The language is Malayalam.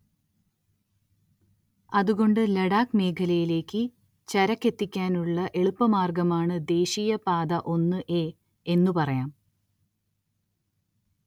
അതുകൊണ്ട് ലഡാക് മേഖലയിലേക്ക് ചരക്കെത്തിക്കാനുള്ള എളുപ്പമാർഗ്ഗമാണ് ദേശീയ പാത ഒന്ന്.എ എന്നു പറയാം.